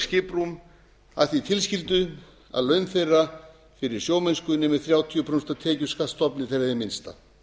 skiprúm að því tilskyldu að laun þeirra fyrir sjómennsku nemi þrjátíu prósent af tekjuskattsstofni þeirra hið minnsta